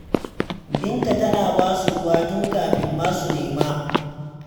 Binta tana ba su ruwa tun kafin ma su nema.